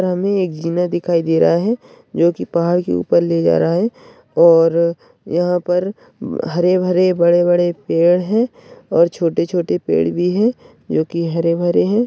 और हमे एक जिना दिखाई दे रहा है जो की पहाड़ की ऊपर ले जा रहा है और यहा पर हरे भरे बड़े बड़े पेड़ है और छोटे छोटे पेड़ भी है जो की हरे भरे है।